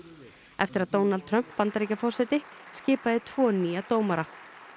eftir að Donald Trump Bandaríkjaforseti skipaði tvo nýja dómara